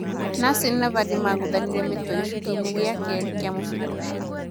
Nasri na Vardy magũthanire mĩtwe gĩcunjĩ-inĩ gĩa kerĩ kĩa mũbira ũcio.